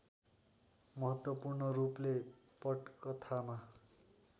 महत्त्वपूर्ण रूपले पटकथामा